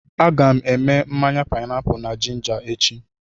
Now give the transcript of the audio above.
A ga m èmè mmanya páịnápụlụ na jinja echi